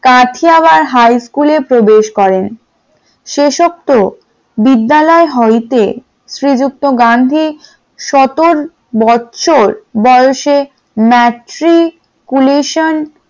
কাথিয়ারা high স্কুলে প্রবেশ করেন । সেক্ষেত্রে বিদ্যালয় হলিতে শ্রীযুক্ত গান্ধি সতেরো বছর বয়সে matriculation